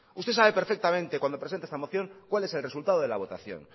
usted sabe perfectamente cuando presenta esta moción cuál es el resultado de la votación